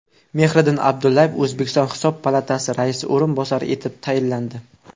Mehriddin Abdullayev O‘zbekiston Hisob palatasi raisi o‘rinbosari etib tayinlandi.